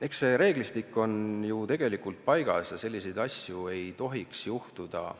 Eks see reeglistik on ju tegelikult paigas ja selliseid asju ei tohiks juhtuda.